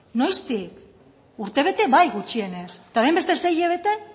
noiztik urtebete bai gutxienez eta orain beste sei hilabete